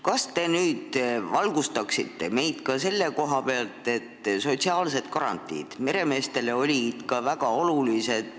Kas te valgustaksite meid ka selle koha pealt, et sotsiaalsed garantiid on meremeestele ikka väga olulised.